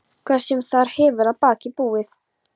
Hvað sem þar hefur að baki búið.